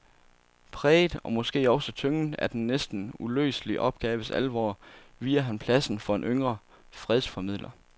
Præget og måske også tynget af den næsten uløselige opgaves alvor viger han pladsen for en yngre fredsformidler.